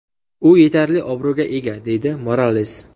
U yetarli obro‘ga ega”, deydi Morales.